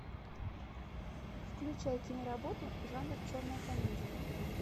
включай киноработу жанр черная комедия